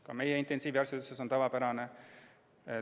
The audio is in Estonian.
Ka meie intensiivraviarstid ütlesid, et see on tavapärane.